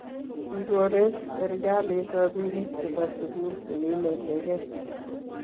kigoreek serikalit robinik chebo sugul cheginietegei